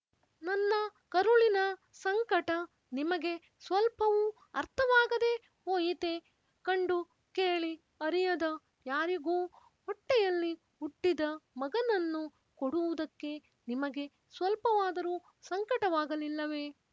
ನನ್ನ ಕರುಳಿನ ಸಂಕಟ ನಿಮಗೆ ಸ್ವಲ್ಪವೂ ಅರ್ಥವಾಗದೇ ಹೋಯಿತೆ ಕಂಡು ಕೇಳಿ ಅರಿಯದ ಯಾರಿಗೋ ಹೊಟ್ಟೆಯಲ್ಲಿ ಹುಟ್ಟಿದ ಮಗನನ್ನು ಕೊಡುವುದಕ್ಕೆ ನಿಮಗೆ ಸ್ವಲ್ಪವಾದರೂ ಸಂಕಟವಾಗಲಿಲ್ಲವೆ